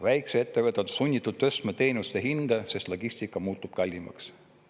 Väikeettevõtted on sunnitud tõstma teenuste hinda, sest logistika muutub kallimaks.